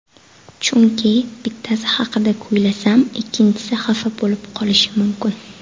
Chunki, bittasi haqida kuylasam ikkinchisi xafa bo‘lib qolishi mumkin.